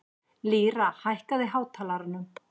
Lýra, hækkaðu í hátalaranum.